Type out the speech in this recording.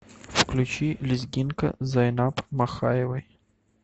включи лезгинка зайнаб махаевой